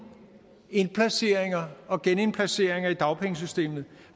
indplaceringer og genindplaceringer i dagpengesystemet